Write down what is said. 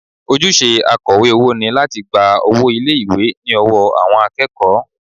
Ojúṣe akọ̀wé owó ni láti gba owó ilé ìwé ní ọwọ́ àwọn akẹ́kọ̀ọ́